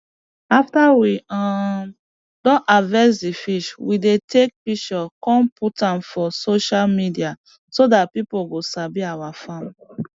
after we um don harvest d fish we dey take pishure come put am for sosah media so dat pipo go sabi our farm